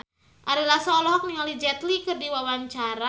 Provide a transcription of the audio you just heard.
Ari Lasso olohok ningali Jet Li keur diwawancara